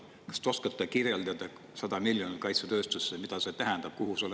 Kas te oskate kirjeldada – 100 miljonit eurot kaitsetööstusesse –, mida see tähendab?